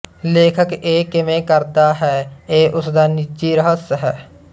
ਲੇਖਕ ਇਹ ਕਿਵੇਂ ਕਰਦਾ ਹੈ ਇਹ ਓਸਦਾ ਨਿੱਜੀ ਰਹੱਸ ਹੈ